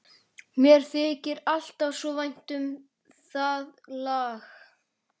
Mér þykir alltaf svo vænt um það lag.